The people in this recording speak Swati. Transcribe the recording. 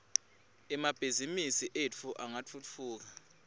emabhizimisi etfu angatfutfuka